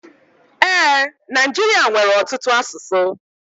E, Naijiria nwere ọtụtụ asụsụ.